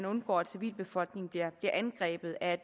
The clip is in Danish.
undgå at civilbefolkningen bliver angrebet af